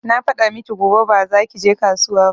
Na faɗa miki gobe ba za ki je kasuwa ba